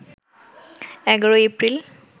১১ April